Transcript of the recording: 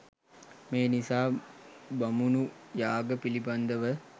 මේ නිසා බමුණු යාග පිළිබඳ ව